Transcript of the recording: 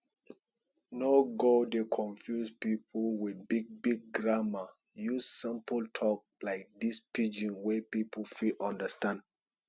no go dey confuse pipo with big big grammer use simple talk like this pidgin wey pipo fit understand